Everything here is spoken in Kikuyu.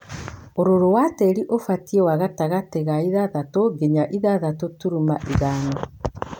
ũrũrũ wa tĩri ũbatie wa gatagatĩ ga ithathatũ nginya ithathatũ turuma ithano.